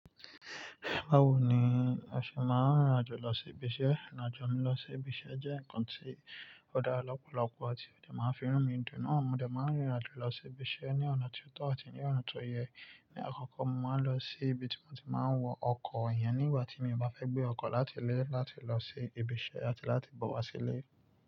Báwo ni o ṣe máa ń rìn rìn àjò lọ sí ibi iṣẹ́? Ìrìn àjò mi lọ sí ibi iṣẹ́ jẹ́ nǹkan tí ó dára lọ́pọ̀lọpọ̀ àti ó de máa ń fi rú mi dùn. Nọ́ọ̀, mo de máa ń rìn rìn àjò lọ sí ibi iṣẹ́ ní ọ̀nà tó tọ́ àti ní ọ̀nà tó yẹ. Ni àkọ́kọ́, mo máa ń lọ sí ibi tí mo ti máa ń wọ ọkọ̀ iyen nígbà tí mi bá fẹ́ gbé ọkọ̀ láti ilé láti lọ sí ibi iṣẹ́ àti láti bọ̀ wá sí ilé.